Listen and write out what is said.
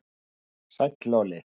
Sæll Óli